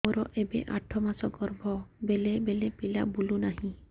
ମୋର ଏବେ ଆଠ ମାସ ଗର୍ଭ ବେଳେ ବେଳେ ପିଲା ବୁଲୁ ନାହିଁ